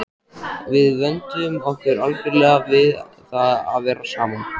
Við vönduðum okkur algjörlega við það að vera saman.